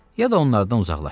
Ya da onlardan uzaqlaş.